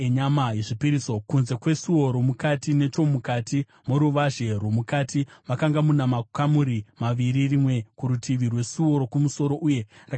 Kunze kwesuo romukati, nechomukati moruvazhe rwomukati, makanga muna makamuri maviri, rimwe kurutivi rwesuo rokumusoro uye rakatarisa kumusoro.